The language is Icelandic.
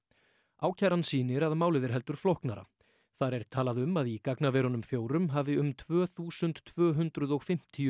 ákæran sýnir að málið er heldur flóknara þar er talað um að í gagnaverunum fjórum hafi um tvö þúsund tvö hundruð og fimmtíu